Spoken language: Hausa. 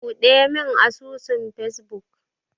Buɗemin asusun Facebook.